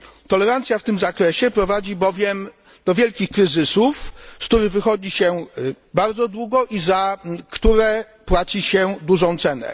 Tolerancja w tym zakresie prowadzi bowiem do wielkich kryzysów, z których wychodzi się bardzo długo i za które płaci się dużą cenę.